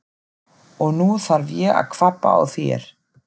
Og nú þarf ég að kvabba á þér!